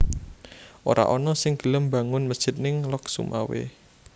Ora ono sing gelem mbangun mesjid ning Lhokseumawe